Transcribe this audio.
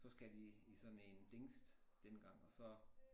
Så skal de i sådan en tingest dengang og så